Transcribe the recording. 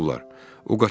Onu tutublar.